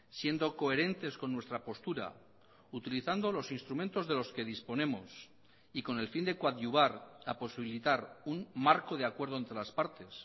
siendo coherentes con nuestra postura utilizando los instrumentos de los que disponemos y con el fin de coadyuvar a posibilitar un marco de acuerdo entre las partes